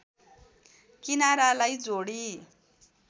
किनारालाई जोडी